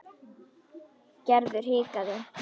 Gerður hikaði.